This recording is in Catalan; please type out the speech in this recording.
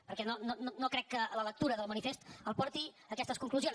perquè no crec que la lectura del manifest el porti a aquestes conclusions